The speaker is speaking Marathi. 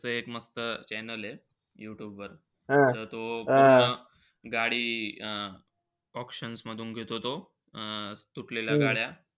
त्याच एक मस्त channel आहे यूट्यूबवर. ते पूर्ण गाडी अं auctions मधून घेतो तो. अं तुटलेल्या गाड्या.